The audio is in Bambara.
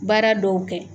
Baara dɔw kɛ